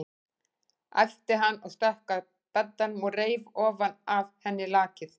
æpti hann og stökk að beddanum og reif ofan af henni lakið.